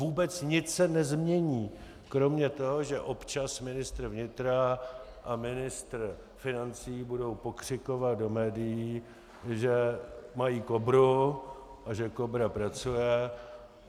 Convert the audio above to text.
Vůbec nic se nezmění kromě toho, že občas ministr vnitra a ministr financí budou pokřikovat do médií, že mají KOBRU a že KOBRA pracuje.